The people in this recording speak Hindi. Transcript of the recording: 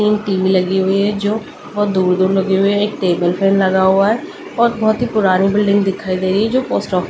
तीन टीवी लगी हुई है जो बहुत दूर दूर लगे हुए एक टेबल फैन लगा हुआ है और बहुत ही पुरानी बिल्डिंग दिखाई दे रही जो पोस्ट ऑफिस की।